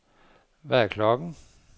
Hvad er klokken